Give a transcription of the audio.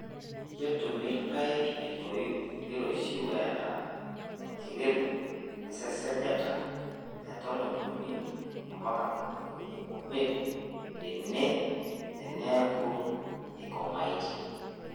ketum irpaek etoi neiroshiu eeta enkirebuk esesajata etomon uni ompaka tomoni uni omiet tene eneaku eikomaaitie.